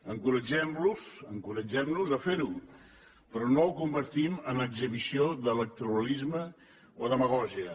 encoratgem los encoratgem nos a fer ho però no ho convertim en exhibició d’electoralisme o demagògia